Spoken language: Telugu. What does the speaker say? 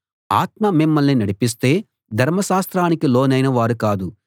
ఆత్మ మిమ్మల్ని నడిపిస్తే ధర్మశాస్త్రానికి లోనైన వారు కాదు